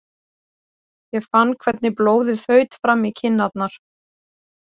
Ég fann hvernig blóðið þaut fram í kinnarnar.